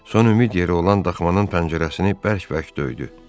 Son ümid yeri olan daxmanın pəncərəsini bərk-bərk döydü.